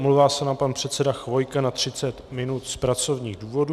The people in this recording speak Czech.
Omlouvá se nám pan předseda Chvojka na 30 minut z pracovních důvodů.